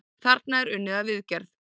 Þarna er unnið að viðgerð.